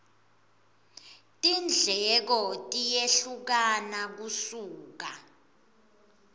tindleko tiyehlukana kusuka